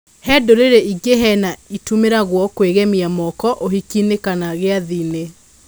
He ndũrĩrĩ ingĩ henna ĩtũmĩragwo kwĩgemia moko ũhikinĩ kana gĩathĩ-inĩ.